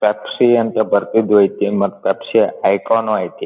Pepsi ಅಂತ ಬರ್ದಿದ್ದು ಐತಿ ಮತ್ ಪೆಪ್ಸಿ ಯ ಐಕಾನು ಐತಿ.